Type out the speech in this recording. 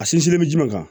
A sinsinnen bɛ jumɛn kan